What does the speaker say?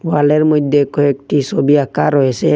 ওয়ালের মইদ্যে কয়েকটি সবি আঁকা রয়েসে।